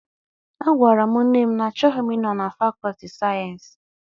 A gwara m nne m na-achọghị m ịnọ na fakọlti sayensị.